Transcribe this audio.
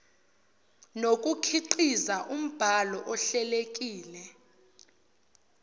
nokukhiqiza umbhalo ohlelekile